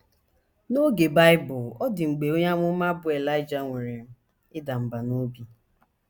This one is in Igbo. N’oge Bible, ọ dị mgbe onye amụma bụ́ Elaịja nwere ịda mbà n’obi.